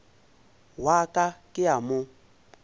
wa ka ke a mo